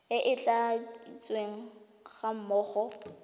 e e tladitsweng ga mmogo